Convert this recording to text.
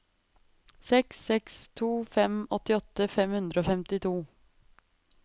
seks seks to fem åttiåtte fem hundre og femtito